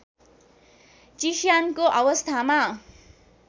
चिस्यानको अवस्थामा